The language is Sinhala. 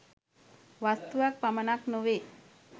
වස්තුවක් පමණක් නොවේ